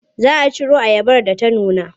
Za a ciro ayabar da ta nuna.